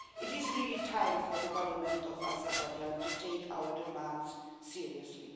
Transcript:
It is really time for the Government of Azerbaijan to take our demands seriously.